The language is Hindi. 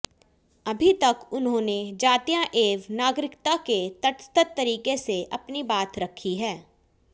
अभी तक उन्होंने जातीय एवं नागरिकता से तटस्थ तरीके से अपनी बात रखी है